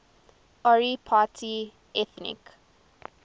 ori party ethnic